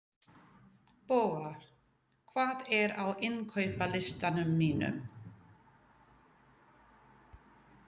Boga, hvað er á innkaupalistanum mínum?